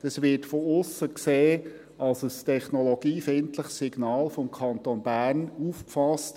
» Das wird von aussen als ein technologiefeindliches Signal des Kantons Bern aufgefasst.